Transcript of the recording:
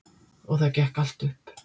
Og það gekk allt upp.